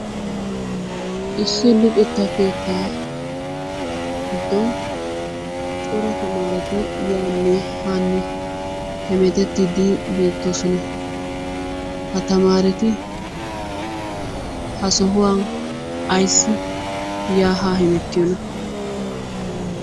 Issi luxetta keetta giddon cora tamareti yaanne hanne hemettidi beetoosona. Ha tamaretti ha sohuwan ayssi ya ha hemerriyoona?